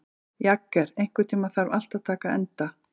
Jagger, einhvern tímann þarf allt að taka enda.